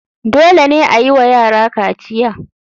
Dole ne ayiwa yara kaciya.